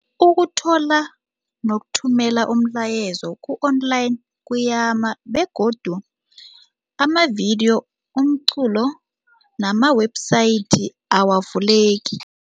Ukuthola nokuthumela umlayezo ku-online kuyama begodu amavidiyo, umculo nama-website awavuleki.